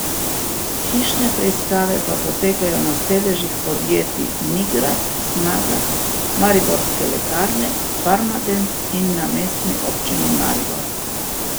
Hišne preiskave pa potekajo na sedežih podjetij Nigrad, Snaga, Mariborske lekarne, Farmadent in na Mestni občini Maribor.